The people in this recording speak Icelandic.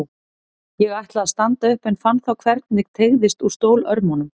Ég ætlaði að standa upp en fann þá hvernig teygðist úr stólörmunum.